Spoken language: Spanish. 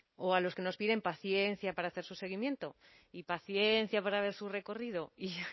o a los que nos piden paciencia para hacer su seguimiento y paciencia para ver su recorrido y